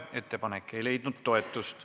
Ettepanek ei leidnud toetust.